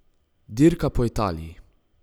Dirka po Italiji.